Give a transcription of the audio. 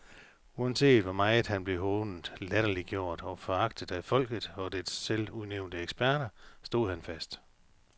Uanset hvor meget han blev hånet, latterliggjort og foragtet af folket og dets selvudnævnte eksperter, stod han fast.